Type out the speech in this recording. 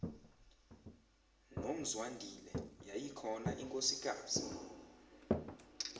nomzwandile yayikhona inkosikazi